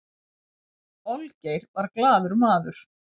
olgeir var glaður maður